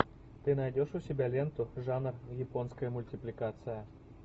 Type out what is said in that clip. ты найдешь у себя ленту жанр японская мультипликация